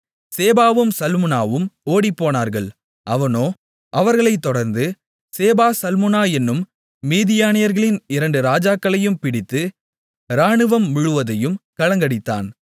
சேபாவும் சல்முனாவும் ஓடிப்போனார்கள் அவனோ அவர்களைத் தொடர்ந்து சேபா சல்முனா என்னும் மீதியானியர்களின் இரண்டு ராஜாக்களையும் பிடித்து ராணுவம் முழுவதையும் கலங்கடித்தான்